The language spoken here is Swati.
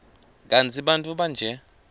kantsi bantfu banje